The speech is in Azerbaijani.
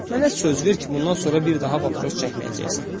Mənə söz ver ki, bundan sonra bir daha papros çəkməyəcəksən.